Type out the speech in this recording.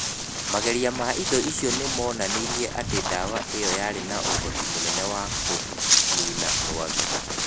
Magerio ma indo icio nĩ monanirie atĩ ndawa ĩyo yarĩ na ũhoti mũnene wa kũniina rwagĩ.